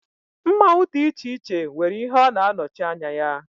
Mmanwu dị iche iche nwere ihe Ọ na-anọchi anya ya.